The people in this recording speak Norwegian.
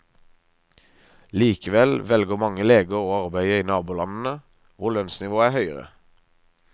Likevel velger mange leger å arbeide i nabolandene, hvor lønnsnivået er høyere.